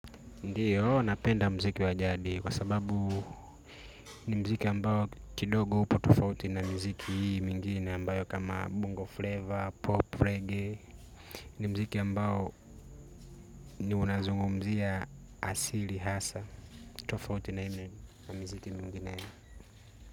Ndiyo, napenda mziki wa jadi kwa sababu ni mziki ambao kidogo upo tofauti na mziki hii mingine ambayo kama bungo flavor, pop reggae, ni mziki ambao ni unazungumzia asili hasa, tofauti na mziki mingine.